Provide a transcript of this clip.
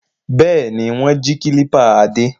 Bẹ́ẹ̀ ni, wọ́n jí kílípà Adé.